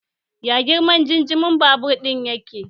Ya girman injimin babur ɗin yake?